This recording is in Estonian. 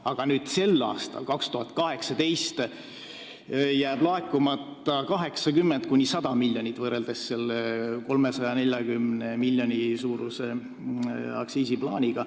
Aga sel aastal, 2018, jääb laekumata 80–100 miljonit võrreldes 340 miljoni suuruse aktsiisiplaaniga.